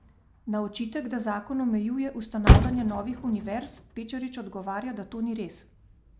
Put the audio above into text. Na očitek, da zakon omejuje ustanavljanje novih univerz, Pečarič odgovarja, da to ni res.